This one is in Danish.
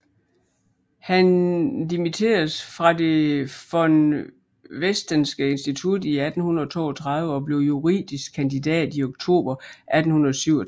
Han dimitteredes fra det von Westenske Institut i 1832 og blev juridisk kandidat i oktober 1837